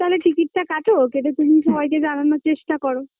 তালে টিকিটটা কাটো কেটে তুমিও সবাইকে জানানোর চেষ্টা করো